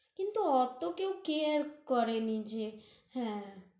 কিন্তু অত কেউ care করেনি যে, হ্যাঁ